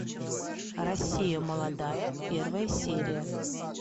россия молодая первая серия